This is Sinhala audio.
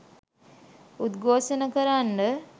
උද්ඝෝෂණය කරන්ඩ